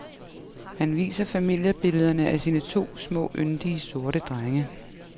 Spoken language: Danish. Han viser familiebillederne af sine to små yndige, sorte drenge.